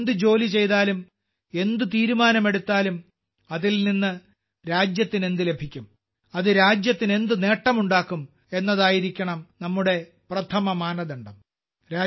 നമ്മൾ എന്ത് ജോലി ചെയ്താലും എന്ത് തീരുമാനമെടുത്താലും അതിൽ നിന്ന് രാജ്യത്തിന് എന്ത് ലഭിക്കും അത് രാജ്യത്തിന് എന്ത് നേട്ടമുണ്ടാക്കും എന്നതായിരിക്കണം നമ്മുടെ പ്രഥമ മാനദണ്ഡം